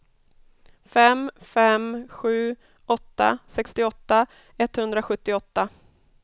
fem fem sju åtta sextioåtta etthundrasjuttioåtta